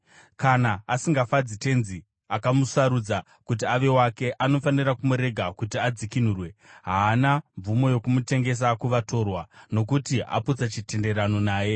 Kana asingafadzi tenzi akamusarudza kuti ave wake, anofanira kumurega kuti adzikinurwe. Haana mvumo yokumutengesa kuvatorwa, nokuti aputsa chitenderano naye.